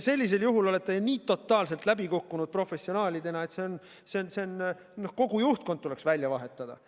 Sellisel juhul olete professionaalidena nii totaalselt läbi kukkunud, et kogu juhtkond tuleks välja vahetada.